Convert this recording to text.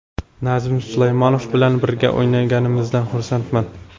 Nazim Suleymanov bilan birga o‘ynaganimizdan xursandman.